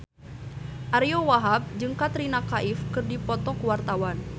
Ariyo Wahab jeung Katrina Kaif keur dipoto ku wartawan